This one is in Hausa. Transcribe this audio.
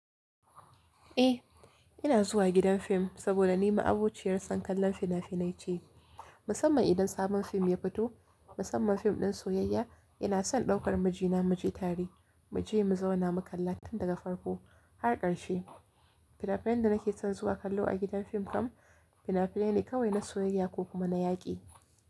Eh, ina zuwa gidan fim saboda ni ma'abociyar son kallon fina-finai ce. Musamman idan sabon fim ya fito, musamman fim ɗin soyayya, ina son ɗaukar mijina muje tare, mu je mu zauna mu kalla tun daga farko har ƙarshe. Fina-finan da nake son zuwa kallo a gidan fim kam fina-finai ne kawai na soyayya ko kuma na yaƙi.